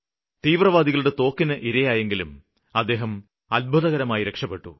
തീവ്രവാദികളുടെ തോക്കിന് ഇരയായെങ്കിലും അദ്ദേഹം അത്ഭുതകരമായി രക്ഷപ്പെട്ടു